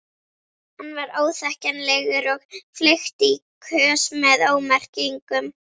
Hann var óþekkjanlegur og fleygt í kös með ómerkingum.